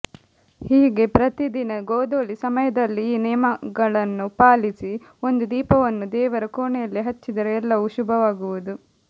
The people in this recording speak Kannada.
ಹೀಗೆ ಪ್ರತಿ ದಿನ ಗೋಧೂಳಿ ಸಮಯದಲ್ಲಿ ಈ ನಿಯಮಗಳನ್ನು ಪಾಲಿಸಿ ಒಂದು ದೀಪವನ್ನು ದೇವರ ಕೋಣೆಯಲ್ಲಿ ಹಚ್ಚಿದರೆ ಎಲ್ಲವೂ ಶುಭವಾಗುವುದು